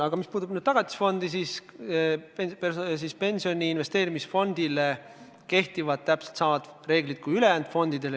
Aga mis puudutab Tagatisfondi, siis pensioni investeerimisfondile kehtivad täpselt samad reeglid mis ülejäänud fondidele.